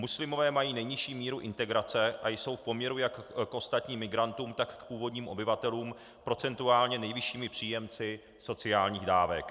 Muslimové mají nejnižší míru integrace a jsou v poměru jak k ostatním migrantům, tak k původním obyvatelům procentuálně nejvyššími příjemci sociálních dávek.